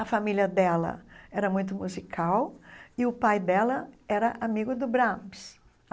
A família dela era muito musical e o pai dela era amigo do Brahms.